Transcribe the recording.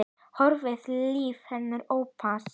Horfi á líf hennar opnast.